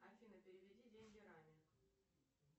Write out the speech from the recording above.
афина переведи деньги раме